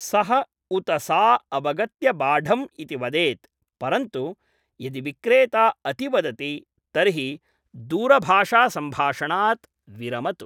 सः उत सा अवगत्य बाढम् इति वदेत्, परन्तु यदि विक्रेता अतिवदति तर्हि दूरभाषासम्भाषणात् विरमतु।